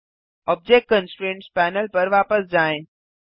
object constraints panel पर वापस जाएँ